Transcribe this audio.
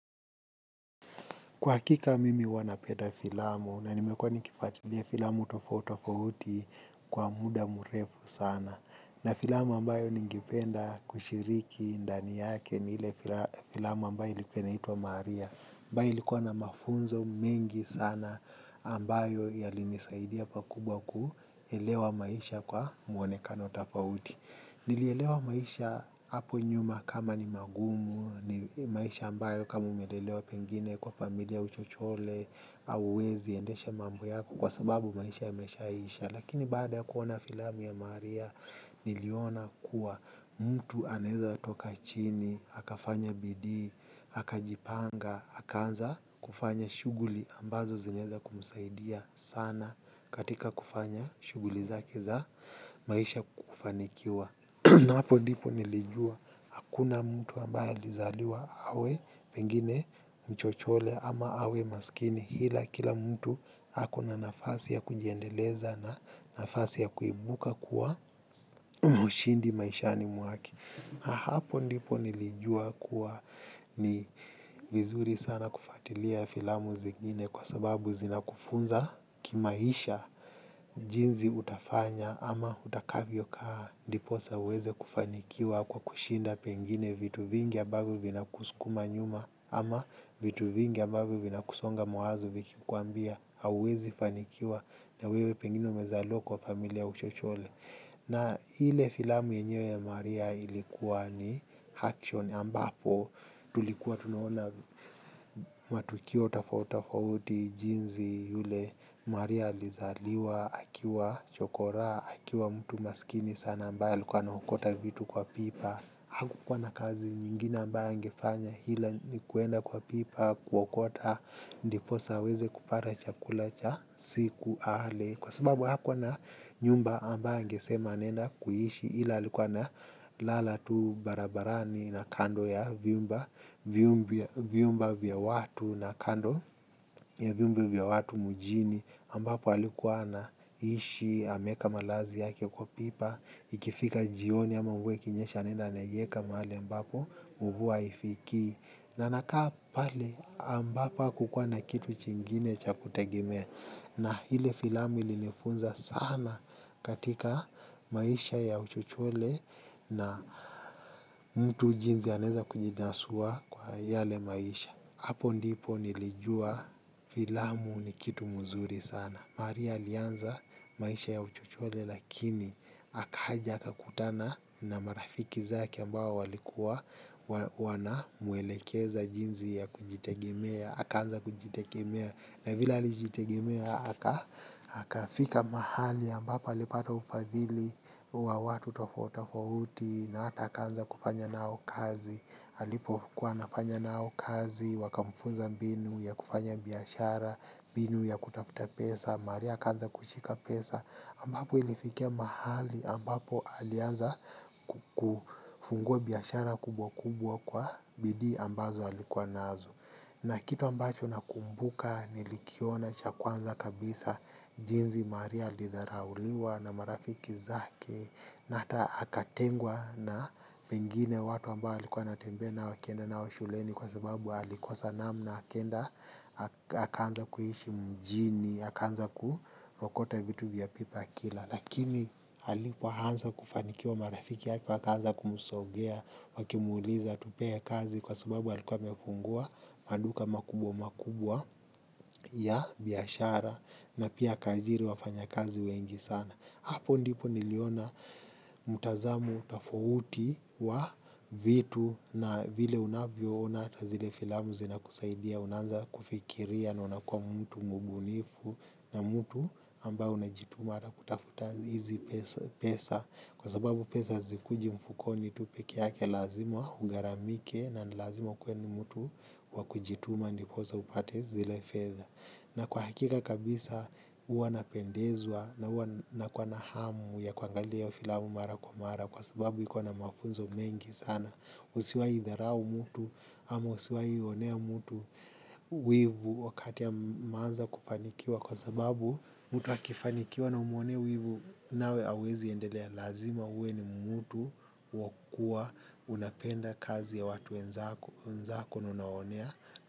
Kwa hakika mimi huwa napenda filamu na nimekuwa nikifuatilia filamu tofauti tofauti kwa muda mrefu sana. Na filamu ambayo ningependa kushiriki ndani yake ni ile filamu ambayo ilikuwa inaitwa maria. Ambayo ilikuwa na mafunzo mengi sana ambayo yalinisaidia pakubwa kuelewa maisha kwa mwonekano tofauti. Nilielewa maisha hapo nyuma kama ni magumu ni maisha ambayo kama umelelewa pengine kwa familia ya uchochole hauwezi endesha mambo yako kwa sababu maisha yamesha isha. Lakini baada kuona filamu ya maria niliona kuwa mtu anaweza toka chini, akafanya bidii, akajipanga, akaanza kufanya shughuli ambazo zinaweza kumsaidia sana katika kufanya shughuli zake za maisha kufanikiwa. Na hapo ndipo nilijua hakuna mtu ambaya alizaliwa awe pengine mchochole ama awe maskini ila kila mtu ako na nafasi ya kujiendeleza na nafasi ya kuibuka kuwa mshindi maishani mwake. Na hapo ndipo nilijua kuwa ni vizuri sana kufuatilia filamu zingine kwa sababu zinakufunza kimaisha jinsi utafanya ama utakavyo kaa ndiposa uweze kufanikiwa kwa kushinda pengine vitu vingi ambavyo vinakusukuma nyuma ama vitu vingi ambavyo vina kusonga mawazo vikikwambia hauwezi fanikiwa na wewe pengine umezaliwa kwa familia ya uchochole. Na ile filamu yenyewe ya maria ilikuwa ni action ambapo tulikuwa tunaona matukio tofauti tofauti jinsi yule. Maria alizaliwa akiwa chokora akiwa mtu masikini sana ambaye alikuwa anaokota vitu kwa pipa. Hakukuwa na kazi nyingine ambayo angefanya ila ni kwenda kwa pipa kuokota ndiposa aweze kupata chakula cha siku ale. Kwa sababu hakuwa na nyumba ambayo angesema anaenda kuishi ila alikuwa na lala tu barabarani na kando ya vyumba vyumba vya watu na kando ya vyumba vya watu mjini ambapo alikuwa anaishi ameweka malazi yake kwa pipa, ikifika jioni ama mvua ikinyesha anenda anaiweka mahali ambapo mvua haifikii. Na anakaa pale ambapo hakukuwa na kitu chingine cha kutegemea na ile filamu ilinifunza sana katika maisha ya uchochole na mtu jinsi anaweza kujinasua kwa yale maisha hapo ndipo nilijua filamu ni kitu mzuri sana. Maria alianza maisha ya uchochole lakini akaja akakutana na marafiki zake ambao walikuwa wanamwelekeza jinsi ya kujitegemea akaanza kujitegemea na vile alijitegemea akafika mahali ambapo alipata ufadhili wa watu tofauti tofauti na hata akaanza kufanya nao kazi alipo kuwa anafanya nao kazi wakamfunza mbinu ya kufanya biashara mbinu ya kutafuta pesa maria akaanza kushika pesa ambapo ilifikia mahali ambapo alianza kufungua biashara kubwa kubwa kwa bidii ambazo alikuwa nazo na kitu ambacho nakumbuka nilikiona cha kwanza kabisa jinsi maria alidharauliwa na marafiki zake na hata akatengwa na pengine watu ambao alikuwa anatembea nao akienda nao shuleni kwa sababu alikosa namna akaenda akaanza kuishi mjini akaanza kuokota vitu vya pipa akila lakini alipoanza kufanikiwa marafiki wake wakaanza kumsogea wakimuuliza tupee kazi kwa sababu alikuwa amefungua maduka makubwa makubwa ya biashara na pia akaajiri wafanya kazi wengi sana hapo ndipo niliona mtazamo tofauti wa vitu na vile unavyo ona hata zile filamu zinakusaidia unanza kufikiria na unakuwa mtu mbunifu na mtu ambaye unajituma hata kutafuta hizi pesa kwa sababu pesa hazikuji mfukoni tu peke yake lazima ugharamike na lazima ukuwe ni mtu wa kujituma ndiposa upate zile fedha. Na kwa hakika kabisa huwa napendezwa na huwa nakuwa na hamu ya kuangalia hiyo filamu mara kwa mara kwa sababu iko na mafunzo mengi sana. Usiwahi dharau mtu ama usiwahi onea mtu wivu wakati ameanza kufanikiwa kwa sababu mtu akifanikiwa na umwonee wivu nawe huwezi endelea lazima uwe ni mtu wa kuwa unapenda kazi ya watu wenzako na unawaonea.